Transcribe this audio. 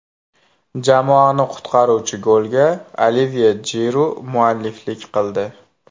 Jamoani qutqaruvchi golga Olivye Jiru mualliflik qildi.